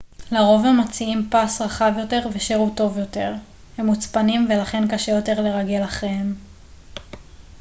לרוב הם מציעים פס רחב יותר ושירות טוב יותר הם מוצפנים ולכן קשה יותר לרגל אחריהם